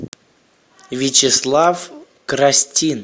вячеслав крастин